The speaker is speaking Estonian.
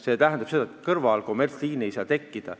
See tähendab seda, et kommertsliini ei saa kõrvale tekkida.